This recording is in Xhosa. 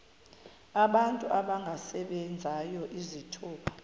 abantu abangasebenziyo izithuba